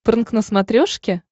прнк на смотрешке